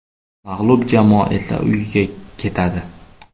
Mag‘lub jamoa esa uyiga ketadi.